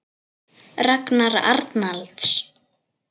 Ragnar Arnalds